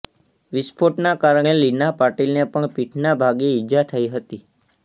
વિસ્ફોટના કારણે લીના પાટીલને પણ પીઠના ભાગે ઈજા થઈ હતી